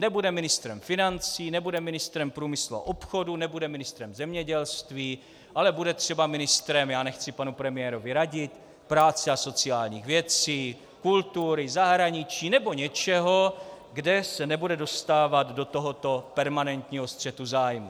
Nebude ministrem financí, nebude ministrem průmyslu a obchodu, nebude ministrem zemědělství, ale bude třeba ministrem - já nechci panu premiérovi radit - práce a sociálních věcí, kultury, zahraničí nebo něčeho, kde se nebude dostávat do tohoto permanentního střetu zájmů.